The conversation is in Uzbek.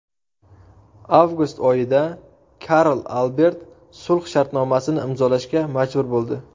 Avgust oyida Karl Albert sulh shartnomasini imzolashga majbur bo‘ldi.